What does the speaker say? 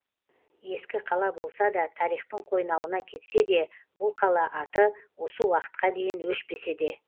ескі қала болса да тарихтың қойнауына кетсе де бұл қала аты осы уақытқа дейін өшпесе де